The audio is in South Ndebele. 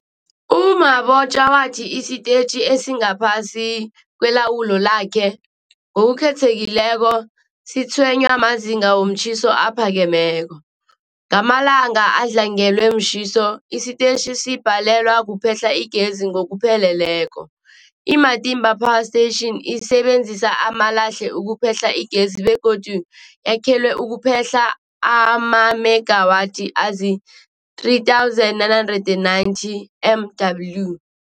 U-Mabotja wathi isitetjhi esingaphasi kwelawulo lakhe, ngokukhethekileko, sitshwenywa mazinga womtjhiso aphakemeko. Ngamalanga adlangelwe mtjhiso, isitetjhi sibhalelwa kuphehla igezi ngokupheleleko. I-Matimba Power Station isebenzisa amalahle ukuphehla igezi begodu yakhelwe ukuphehla amamegawathi azii-3990 MW.